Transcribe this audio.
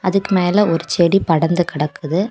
அதுக்கு மேல ஒரு செடி படந்து கிடக்குது.